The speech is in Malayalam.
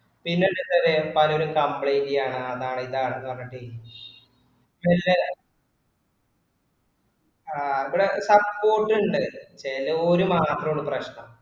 പിന്നെന്തുട്ടത് പലരും complaint ചെയാണ് അതാണ് ഇതാണ് പറഞ്ഞിട്ട് പിണിലെ ആ ഇവടെ support ഇണ്ട് ചേലോര് മാത്രോള്ളു പ്രെശ്നം